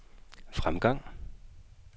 fremgang